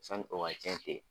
Sanni o ka cɛn ten